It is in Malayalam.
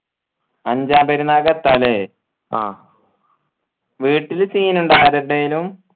അഞ്ചാം പെരുന്നാക്ക് എത്ത അല്ലെ ആ വീട്ടില് scene ഇണ്ടാ ആരതേലും